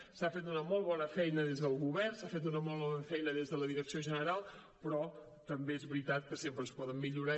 s’ha fet una molt bona feina des del govern s’ha fet una molt bona feina des de la direcció general però també és veritat que sempre es poden millorar